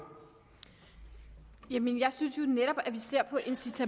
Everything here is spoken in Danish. en minut og